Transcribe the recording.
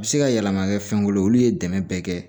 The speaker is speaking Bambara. A bɛ se ka yɛlɛma kɛ fɛnko ye olu ye dɛmɛ bɛɛ kɛ